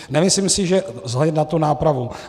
Nemyslím si, že vzhledem k té nápravě.